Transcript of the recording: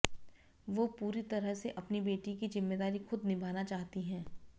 वो पूरी तरह से अपनी बेटी की जिम्मेदारी खुद निभाना चाहती हैं